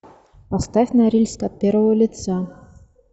поставь норильск от первого лица